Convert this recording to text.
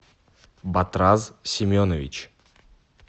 батраз семенович